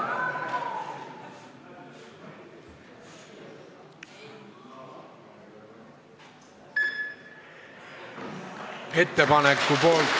Hääletustulemused Ettepaneku poolt ...